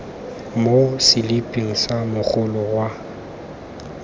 mo seliping sa mogolo wa